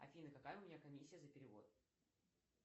афина какая у меня комиссия за перевод